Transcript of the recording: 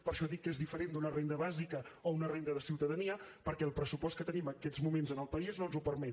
per això dic que és diferent d’una renda bàsica o una renda de ciutadania perquè el pressupost que tenim en aquests moments en el país no ens ho permet